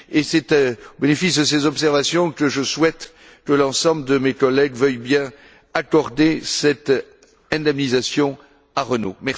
C'est au titre de ces observations que je souhaite que l'ensemble de mes collègues veuillent bien accorder cette indemnisation à Renault.